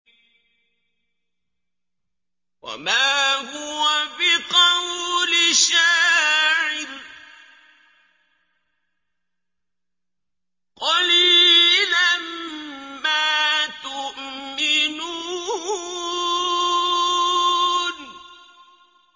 وَمَا هُوَ بِقَوْلِ شَاعِرٍ ۚ قَلِيلًا مَّا تُؤْمِنُونَ